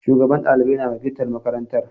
Shugaban ɗalibai na wakiltar marakanatar.